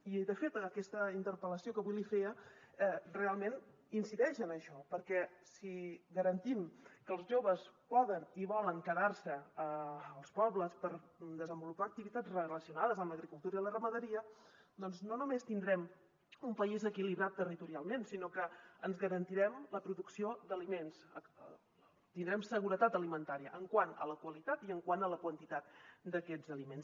i de fet aquesta interpel·lació que avui li feia realment incideix en això perquè si garantim que els joves poden i volen quedar se als pobles per desenvolupar activitats relacionades amb l’agricultura i la ramaderia doncs no només tindrem un país equilibrat territorialment sinó que ens garantirem la producció d’aliments tindrem seguretat alimentària quant a la qualitat i quant a la quantitat d’aquests aliments